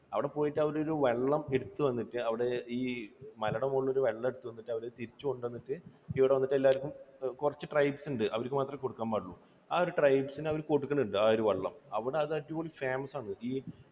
അവിടെ പോയിട്ട് അവരൊരു വെള്ളമെടുത്തു വന്നിട്ട്, അവിടെ ഈ മലയുടെ മുകളിലെ ഒരു വെള്ളം എടുത്തു കൊണ്ടു വന്നിട്ട് അവർ തിരിച്ചു കൊണ്ടു വന്നിട്ട് ഇവിടെ വന്നിട്ട് എല്ലാവർക്കും കുറച്ച് tribes ഉണ്ട്. അവർക്ക് മാത്രമേ കൊടുക്കാൻ പാടുള്ളൂ. ആ ഒരു tribes ന് അവർ കൊടുക്കൽ ഉണ്ട്. ആ ഒരു വെള്ളം. അവിടെ അത് അടിപൊളി famous ആണ്.